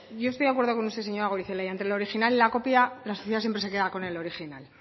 yo estoy de acuerdo con usted señora goirizelaia entre el original y la copia la sociedad siempre se queda con el original